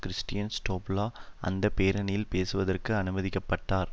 Christian ஸ்டோபில அந்த பேரணியில் பேசுவதற்கு அனுமதிக்க பட்டார்